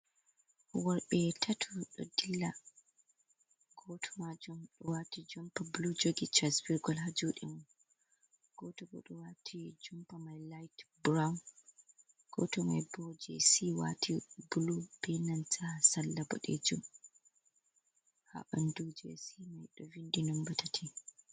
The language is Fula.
Worɓe tatu ɗo dilla goto majum wati jumpa bulu jogi chasbirgol ha juɗe mako goto bo ɗo wati jumpa mai layit burawun goto maibo jesi wati bulu benana salla boɗejum ha ɓandu jesi mai ɓe vinɗi numba tati.